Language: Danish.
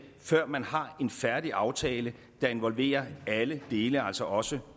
før man har en færdig aftale der involverer alle dele altså også